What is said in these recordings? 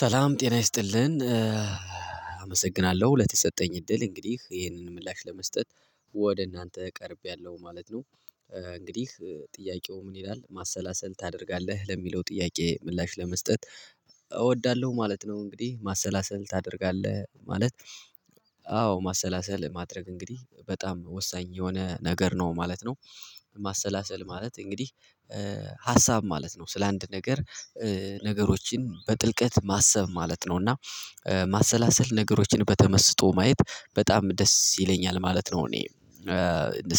ሰላም ጤና ይስጥልን አመሰግናለሁ ለተሰጠኝ እድል እንግዲህ ይሄንን ምላሽ ለመስጠት ወደ እናንተ ቀርቤያለሁ ማለት ነው። እንግዲህ ጥያቄው ምን ይላል ማሰላሰል ታደርጋለህ ለሚለው ጥያቄ? ምላሽ ለመስጠት እወዳለሁ ማለት ነው። እንግዲህ ማሰላሰል ታደርጋለህ ማለት አዎ ማሰላሰል ማድረግ እንግዲህ በጣም ወሳኝ የሆነ ነገር ነው ማለት ነው። ማሰላሰል ማለት እንግዲህ ሀሳብ ማለት ነው ስለ አንድ ነገር። ነገሮችን በጥልቀት ማሰብ ማለት ነው። እና ማሰላሰል ነገሮችን በተመስጦ ማየት በጣም ደስ ይለኛል ማለት ነው። እኔ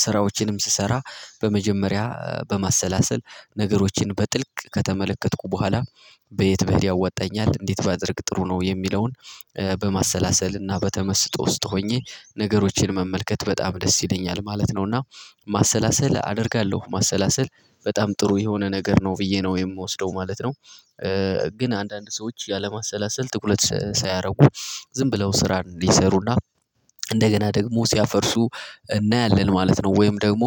ስራዎችንም ስሰራ በመጀመሪያ በማሰላሰል ነገሮችን በጥልቅ ከተመለከትኩ በኋላ በየት ብሄድ ያወጣኛል እንዴት ባደርግ ጥሩ ነው የሚለውን በማሰላሰል እና በተመስጦ ውስጥ ሆኜ ነገሮችን መመልከት በጣም ደስ ይለኛል ማለት ነው። እና ማሰላሰል አደርጋለሁ ማሰላሰል በጣም ጥሩ የሆነ ነገር ነው ብዬ ነው የምወስደው ማለት ነው። ግን አንዳንድ ሰዎች ያለማሰላሰል ጥቁለት ሳያደርጉ ዝም ብለው ስራን ሊሰሩና እንደገና ደግሞ ሲያፈርሱ እናያለን ማለት ነው። ወይም ደግሞ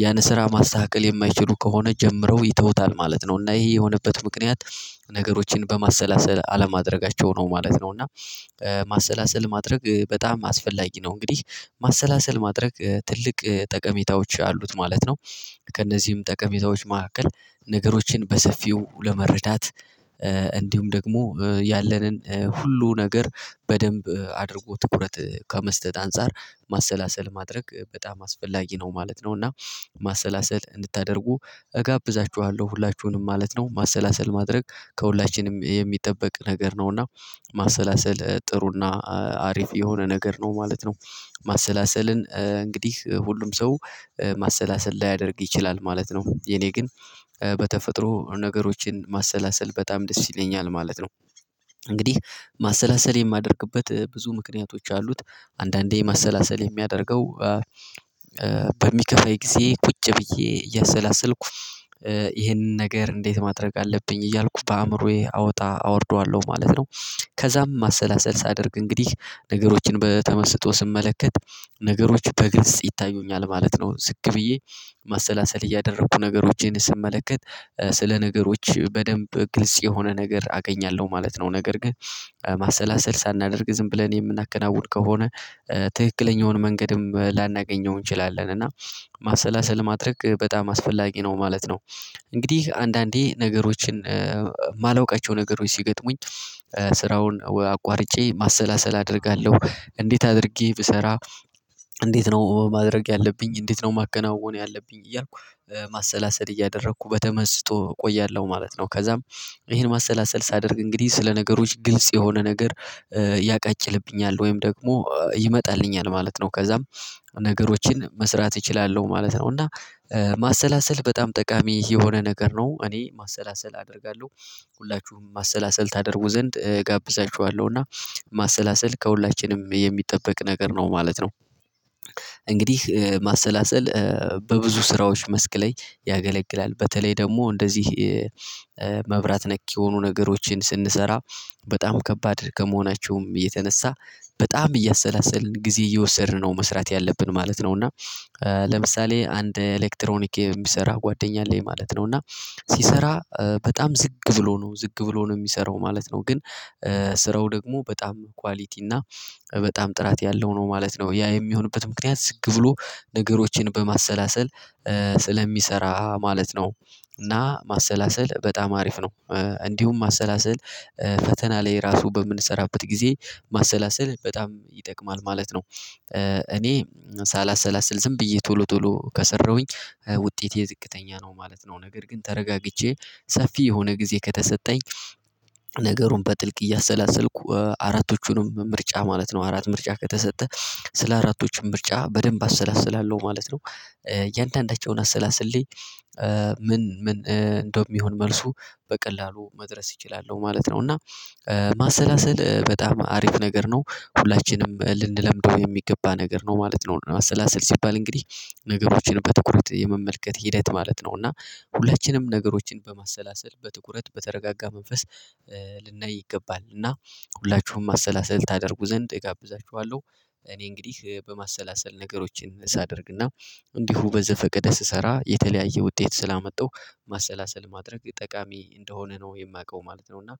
ያን ስራ ማስተካከል የማይችሉ ከሆነ ጀምረው ይተውታል ማለት ነው። እና ይሄ የሆነበት ምክንያት ነገሮችን በማሰላሰል አለማድረጋቸው ነው ማለት ነው። እና ማሰላሰል ማድረግ በጣም አስፈላጊ ነው እንግዲህ ማሰላሰል ማድረግ ትልቅ ጠቀሜታዎች አሉት ማለት ነው። ከእነዚህም ጠቀሜታዎች መካከል ነገሮችን በሰፊው ለመረዳት እንዲሁም ደግሞ ያለንን ሁሉ ነገር በደንብ አድርጎ ትኩረት ከመስጠት አንፃር ማሰላሰል ማድረግ በጣም አስፈላጊ ነው ማለት ነው። እና ማሰላሰል እንድታደርጉ እጋብዛችኋለሁ ሁላችሁንም ማለት ነው። ማሰላሰል ማድረግ ከሁላችንም የሚጠበቅ ነገር ነው እና ማሰላሰል ጥሩና አሪፍ የሆነ ነገር ነው ማለት ነው። ማሰላሰልን እንግዲህ ሁሉም ሰው ማሰላሰል ላያደርግ ይችላል ማለት ነው። የኔ ግን በተፈጥሮ ነገሮችን ማሰላሰል በጣም ደስ ይለኛል ማለት ነው። እንግዲህ ማሰላሰል የማደርግበት ብዙ ምክንያቶች አሉት። አንዳንዴ ማሰላሰል የሚያደርገው በሚከፋይፈኝ ጊዜ ቁጭ ብዬ እየሰላሰልኩ ይሄንን ነገር እንዴት ማድረግ አለብኝ እያልኩ በአእምሮዬ አወጣ አወርደዋለሁ ማለት ነው። ከዛም ማሰላሰል ሳደርግ እንግዲህ ነገሮችን በተመስጦ ስመለከት ነገሮች በግልጽ ይታዩኛል ማለት ነው። ዝቅ ብዬ ማሰላሰል እያደረኩ ነገሮችን ስመለከት ስለ ነገሮች በደንብ ግልጽ የሆነ ነገር አገኛለሁ ማለት ነው። ነገር ግን ማሰላሰል ሳናደርግ ዝም ብለን የምናከናውን ከሆነ ትክክለኛውን መንገድም ላናገኘው እንችላለን እና ማሰላሰል ማድረግ በጣም አስፈላጊ ነው ማለት ነው። እንግዲህ አንዳንዴ ነገሮችን የማላውቃቸው ነገሮች ሲገጥሙኝ ስራውን አቋርጬ ማሰላሰል አደርጋለሁ። እንዴት አድርጌ ብሰራ እንዴት ነው ማድረግ ያለብኝ እንዴት ነው ማከናወን ያለብኝ እያልኩ ማሰላሰል እያደረኩ በተመስጦ እቆያለሁ ማለት ነው። ከዛም ይሄን ማሰላሰል ሳደርግ እንግዲህ ስለ ነገሮች ግልጽ የሆነ ነገር ያቃጭልብኛል ወይም ደግሞ ይመጣልኛል ማለት ነው። ከዛም ነገሮችን መስራት እችላለሁ ማለት ነው። እና ማሰላሰል በጣም ጠቃሚ የሆነ ነገር ነው እኔ ማሰላሰል አደርጋለሁ። ሁላችሁም ማሰላሰል ታደርጉ ዘንድ እጋብዛችኋለሁ እና ማሰላሰል ከሁላችንም የሚጠበቅ ነገር ነው ማለት ነው። እንግዲህ ማሰላሰል በብዙ ስራዎች መስክ ላይ ያገለግላል በተለይ ደግሞ እንደዚህ መብራት ነክ የሆኑ ነገሮችን ስንሰራ በጣም ከባድ ከመሆናችሁም የተነሳ በጣም እያሰላሰልን ጊዜ እየወሰድን ነው መስራት ያለብን ማለት ነው። እና ለምሳሌ አንድ ኤሌክትሮኒክ የሚሰራ ጓደኛ አለኝ ማለት ነው። እና ሲሰራ በጣም ዝግ ብሎ ነው ዝግ ብሎ ነው የሚሰራው ማለት ነው። ግን ስራው ደግሞ በጣም ኳሊቲ እና በጣም ጥራት ያለው ነው ማለት ነው። ያ የሚሆንበት ምክንያት ዝግ ብሎ ነገሮችን በማሰላሰል ስለሚሰራ ማለት ነው። እና ማሰላሰል በጣም አሪፍ ነው። እንዲሁም ማሰላሰል ፈተና ላይ ራሱ በምንሰራበት ጊዜ ማሰላሰል በጣም ይጠቅማል ማለት ነው። እኔ ሳላሰላስል ዝም ብዬ ቶሎ ቶሎ ከሰራሁኝ ውጤቴ ዝቅተኛ ነው ማለት ነው። ነገር ግን ተረጋግቼ ሰፊ የሆነ ጊዜ ከተሰጠኝ ነገሩን በጥልቅ እያሰላሰልኩ አራቶቹንም ምርጫ ማለት ነው አራት ምርጫ ከተሰጠ ስለ አራቶችም ምርጫ በደንብ አሰላስላለሁ ማለት ነው። እያንዳንዳቸውን አሰላስሌ ምን ምን እንደውም ይሁን መልሱ በቀላሉ መድረስ ይችላሉ ማለት ነው። እና ማሰላሰል በጣም አሪፍ ነገር ነው። ሁላችንም ልንለምደው የሚገባ ነገር ነው ማለት ነው። እና ማሰላሰል ሲባል እንግዲህ ነገሮችን በትኩረት የመመልከት ሂደት ማለት ነው። እና ሁለችንም ነገሮችን በማሰላሰል በትኩረት በተረጋጋ መንፈስ ልናይ ይገባል እና ሁላችሁም ማሰላሰል ታደርጉ ዘንድ እጋብዛችኋለሁ። እኔ እንግዲህ በማሰላሰል ነገሮችን ሳደርግና እንዲሁ በዘፈቀደ ስሰራ የተለያየ ውጤት ስላመጣው ማሰላሰል ማድረግ ጠቃሚ እንደሆነ ነው የማውቀው ማለት ነው። እና